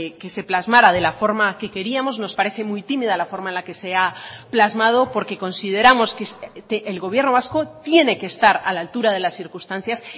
que se plasmara de la forma que queríamos nos parece muy tímida la forma en la que se ha plasmado porque consideramos que el gobierno vasco tiene que estar a la altura de las circunstancias